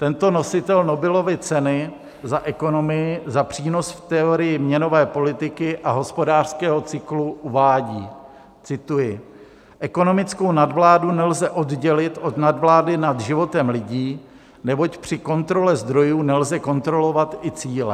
Tento nositel Nobelovy ceny za ekonomii za přínos v teorii měnové politiky a hospodářského cyklu uvádí - cituji: "Ekonomickou nadvládu nelze oddělit od nadvlády nad životem lidí, neboť při kontrole zdrojů nelze kontrolovat i cíle.